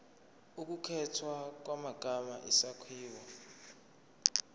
ukukhethwa kwamagama isakhiwo